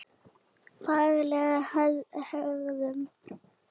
Fagleg hegðun.